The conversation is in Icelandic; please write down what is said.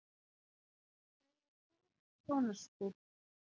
Segja fund sjónarspil